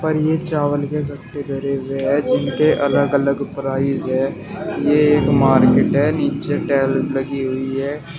और ये चावल के डब्बे धरे हुए है जिनके अलग अलग प्राइज है ये एक मार्केट है नीचे टैल लगी हुई है।